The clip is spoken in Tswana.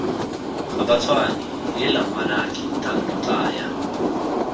gabatshwane heela ngwanake thando tlaya